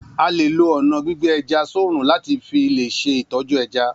A lè lo ọna gbígbé ẹja sorun lati filè ṣe itọju ẹja